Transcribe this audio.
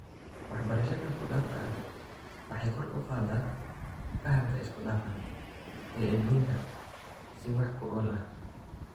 Waxbarashada isku-dhafka ah waxay kor u qaadaa fahamka isku-dhafan ee edbinta si wax ku ool ah.